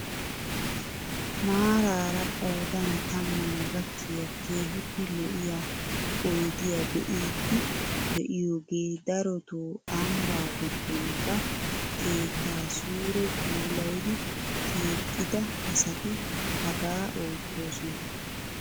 Maarara qoodan tammaa gakkiyaa kehippe lo"iyaa oydiyaa be'iidi de'iyoogee darotoo ambbaa giddon ba keettaa sure puulayidi keexxida asati hagaa ottisoosona.